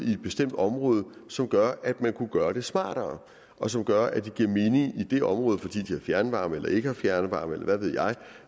i et bestemt område som gør at man kunne gøre det smartere og som gør at det giver mening i det område fordi de har fjernvarme eller ikke har fjernvarme eller hvad